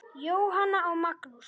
Jóhanna og Magnús.